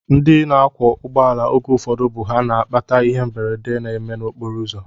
Ndị na-akwọ ụgbọala oge ụfọdụ bụ ha na-akpata ihe mberede na-eme n'okporoụzọ